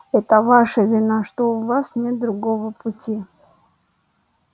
это ваша вина что у вас нет другого пути